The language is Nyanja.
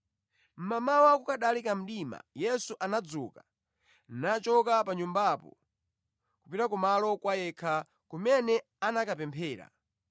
Mmamawa, kukanali kamdima, Yesu anadzuka, nachoka pa nyumbapo kupita kumalo kwa yekha, kumene anakapemphera.